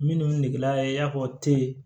Minnu negela i y'a fɔ te